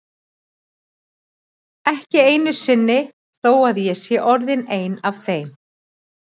Ekki einu sinni þó að ég sé orðin ein af þeim.